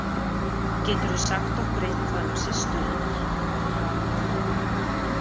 Geturðu sagt okkur eitthvað um systur hennar?